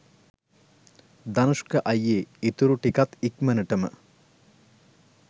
ධනුෂ්ක අයියේ ඉතුරු ටිකත් ඉක්මනටම